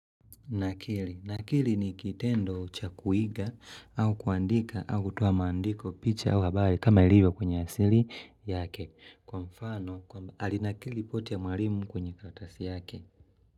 Nakili nakili ni kitendo cha kuiga au kuandika au kutoa maandiko picha au habari kama ilivyo kwenye asili yake. Kwa mfano, alinakili ripoti ya mwalimu kwenye karatasi yake.